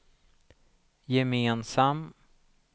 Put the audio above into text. gemensam